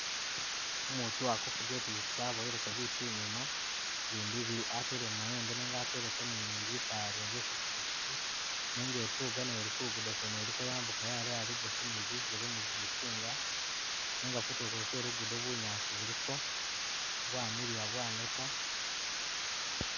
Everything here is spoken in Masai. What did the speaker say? Umutu akufuga ipikyipikyi aboweleko bitu inyuma , bindi atele mumayembe nenga ateleko ni litala lyene lye ku pikyipikyi nenga ituga nayo ili kulugo kwene eliko yambuka yaleya ligosi ni bijele ni gumukyinga nenga kutulo kwene kwe lugudo bunyaasi buliko bwamilila bwaneta.